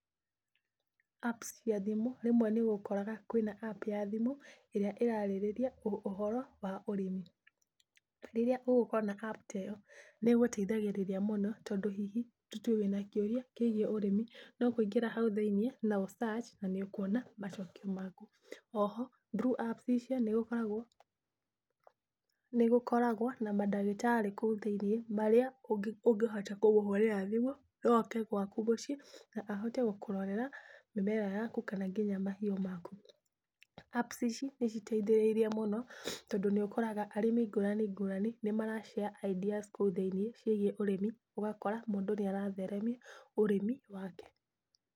Apps cia thimũ rĩmwe nĩ ũkoraga kwĩna app cia thimũ ĩrĩa ĩrarĩrĩria ũhoro wa ũrĩmi, rĩrĩa ũgũkorwo na app ta ĩyo nĩ ĩgũteithagĩrĩria mũno, tondũ hihi tũtue wĩna kĩũria kĩgiĩ ũrimi no kũingĩra hau thĩiniĩ na ũ search na nĩ ũkuona macokio maku. O ho through apps icio nĩ gũkoragwo, nĩ gũkoragwo na mandagĩtarĩ kũu thĩiniĩ marĩa ũngĩhota kũmũhũrĩra thimũ no oke gwaku mũciĩ, na ahote gũkũrorera mĩmera yaku kana nginya mahiũ maku. Apps ici nĩ citeithĩriirie mũno, tondũ nĩ ũkoraga arĩmi ngũrani ngũrani nĩ mara- share ideas kũu thiiniĩ ciĩgiĩ ũrĩmi, ũgakora mũndũ nĩ aratheremia ũrĩmi wake.